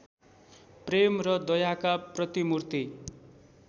प्रेम र दयाका प्रतिमूर्ति